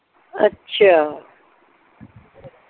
ਅੱਛਾ